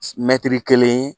Mɛtiri kelen